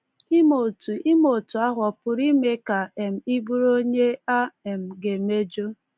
Ime otu Ime otu ahụ ọ pụrụ ime ka um ị bụrụ onye “a um ga-emejọ”?